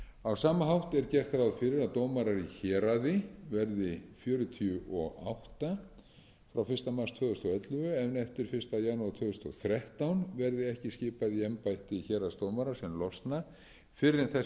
á sama hátt er gert ráð fyrir að dómarar í héraði verði fjörutíu og átta frá fyrsta mars tvö þúsund og ellefu en eftir fyrsta janúar tvö þúsund og þrettán verði ekki skipað í embætti héraðsdómara sem losna fyrr en þess gerist þörf þar